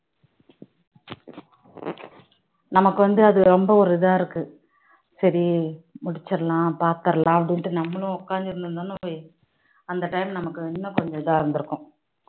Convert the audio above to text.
நமக்கு வந்து அது ரொம்ப ஒரு இதா இருக்கு சரி வச்சிடலாம் பாத்திரலாம் என்று நம்மளும் உட்கார்ந்து இருந்திருந்தோம்னா அப்போ அந்த time நமக்கு இன்னும் கொஞ்சம் இதா இருந்து இருக்கும்